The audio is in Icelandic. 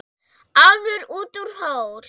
Álfur út úr hól.